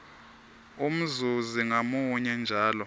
umzuzi ngamunye njalo